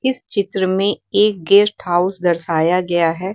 इस चित्र में एक गेस्ट हाउस दर्शाया गया है।